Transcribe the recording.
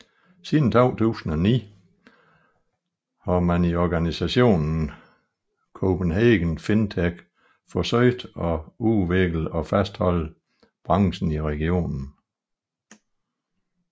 Siden 2009 har man i organisationen Copenhagen FinTech forsøgt at udvikle og fastholde branchen i regionen